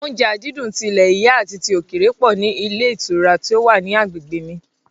Oúnjẹ àdídùn ti ilẹ̀ yìí àti ti òkèèrè pọ̀ ní ilé ìtura ti ó wà ní agbègbè mi